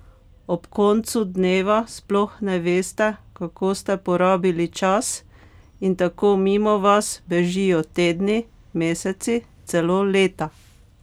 Ob koncu dneva sploh ne veste, kako ste porabili čas, in tako mimo vas bežijo tedni, meseci, celo leta?